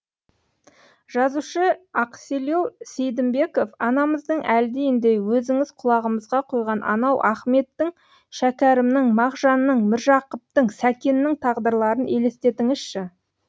жазушы ақселеу сейдімбеков анамыздың әлдиіндей өзіңіз құлағымызға құйған анау ахметтің шәкәрімнің мағжанның міржақыптың сәкеннің тағдырларын елестетіңізші